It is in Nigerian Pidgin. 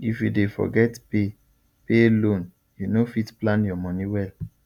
if you dey forget pay pay loan you no fit plan your money well